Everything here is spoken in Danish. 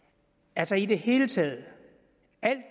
altså i det hele taget